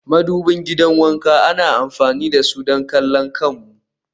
madubin gidan wanka ana amfani da su don kallon kanmu